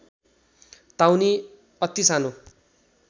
ताउनि अति सानो